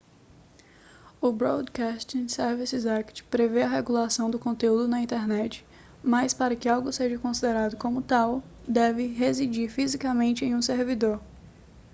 o broadcasting services act prevê a regulação do conteúdo na internet mas para que algo seja considerado como tal deve residir fisicamente em um servidor